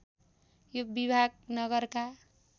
यो विभाग नगरका